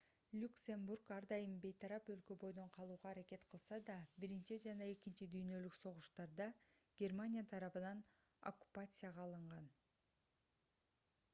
люксембург ар дайым бейтарап өлкө бойдон калууга аракет кылса да биринчи жана экинчи дүйнөлүк согуштарда германия тарабынан оккупацияга алынган